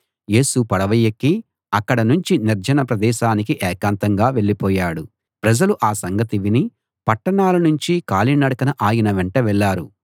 యేసు పడవ ఎక్కి అక్కడనుంచి నిర్జన ప్రదేశానికి ఏకాంతంగా వెళ్ళిపోయాడు ప్రజలు ఆ సంగతి విని పట్టణాల నుంచి కాలి నడకన ఆయన వెంట వెళ్ళారు